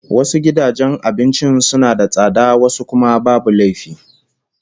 Wasu gidajen abincin suna da tsada wasu kuma babu laifi